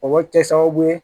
O bɛ kɛ sababu ye